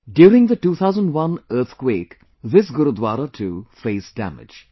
During the 2001 earthquake this Gurudwara too faced damage